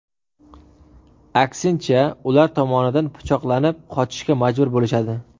Aksincha, ular tomonidan pichoqlanib, qochishga majbur bo‘lishadi.